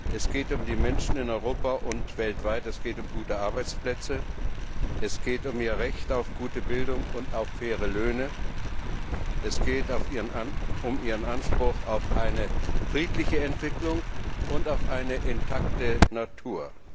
Es geht um die Menschen in Europa und weltweit, es geht um gute Arbeitsplätze, es geht um mehr Recht auf gute Bildung und faire Löhne, um ihren Anspruch auf eine friedliche Entwicklung und auf eine intakte Natur.